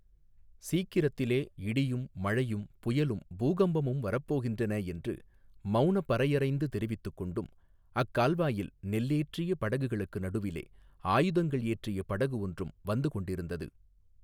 சீக்கிரத்திலே இடியும் மழையும் புயலும் பூகம்பமும் வரப்போகின்றன என்று மௌனப் பறையறைந்து தெரிவித்துக் கொண்டும் அக்கால்வாயில் நெல்லேற்றிய படகுகளுக்கு நடுவிலே ஆயுதங்கள் ஏற்றிய படகு ஒன்றும் வந்துகொண்டிருந்தது.